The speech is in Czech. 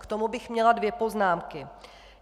K tomu bych měla dvě poznámky.